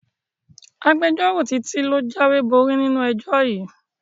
Agbẹjọ́rò Títí ló jáwéborí nínú ẹjọ́ yìí